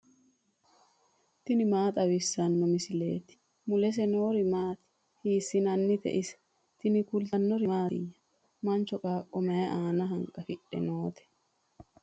tini maa xawissanno misileeti ? mulese noori maati ? hiissinannite ise ? tini kultannori mattiya? Mancho qaaqo mayi aanna hanqafidhe nootte?